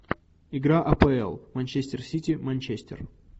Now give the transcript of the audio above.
игра апл манчестер сити манчестер